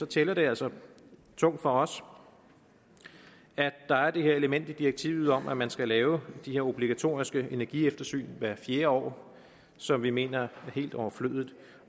tæller det altså tungt for os at der er det her element i direktivet om at man skal lave de her obligatoriske energisyn hvert fjerde år som vi mener er helt overflødige